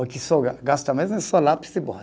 O que só ga, gasta mesmo é só lápis e borracha.